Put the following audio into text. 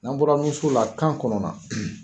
N'an bɔra nunso la, kan kɔnɔna